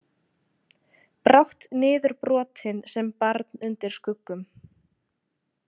Brátt niðurbrotin sem barn undir skuggum.